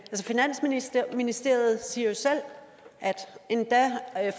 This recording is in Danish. finansministeriet siger jo selv at endda